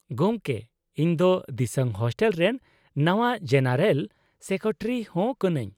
ᱜᱚᱝᱠᱮ, ᱤᱧ ᱫᱚ ᱫᱤᱥᱟᱝ ᱦᱳᱥᱴᱮᱞ ᱨᱮᱱ ᱱᱟᱶᱟ ᱡᱮᱱᱟᱨᱮᱞ ᱥᱮᱠᱨᱮᱴᱟᱨᱤ ᱦᱚᱸ ᱠᱟᱹᱱᱟᱹᱧ ᱾